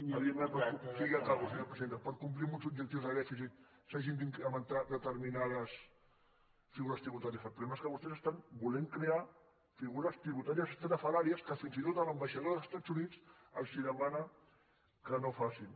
sí ja acabo senyora presidenta per complir amb uns objectius de dèficit s’hagin d’incrementar determinades figures tributàries el problema és que vostès volen crear figures tributàries estrafolàries que fins i tot l’ambaixador dels estats units els demana que no ho facin